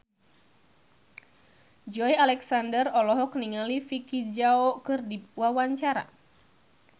Joey Alexander olohok ningali Vicki Zao keur diwawancara